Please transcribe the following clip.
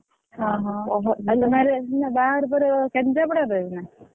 ବାହାଘର ପରେ କେନ୍ଦ୍ରାପଡାରେ ରହିବୁ ନାଁ?